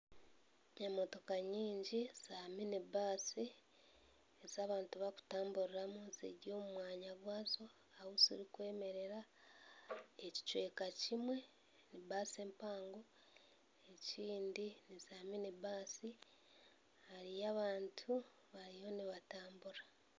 Emotoka nyingi za mini baasi ez'abantu barikutamburiramu ziri omu mwanya gwazo ahu zirikwemerera ekicweka kimwe ni baasi empango ekindi niza mini baasi hariyo abantu bariyo nibatambura.